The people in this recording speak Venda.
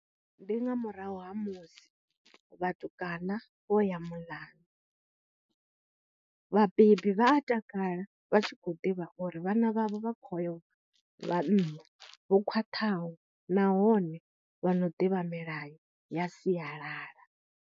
Ndi nga murahu ha musi vhatukana vho ya muḽanu, vhabebi vha a takala vha tshi khou ḓivha uri vhana vhavho vha khou yo ḽa nnḓa, vho khwaṱhaho nahone vha no ḓivha milayo ya sialala.